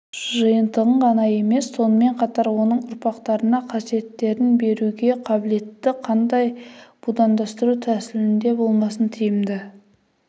жиынтығын ғана емес сонымен қатар оның ұрпақтарына қасиеттерін беруге қабілетті қандай будандастыру тәсілінде болмасын тиімді